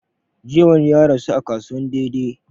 Jiya wani ya rasu a kasuwan dei dei